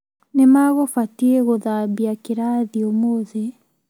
Nĩa magũbatiĩ gũthabia kĩrathi ũmũthĩ?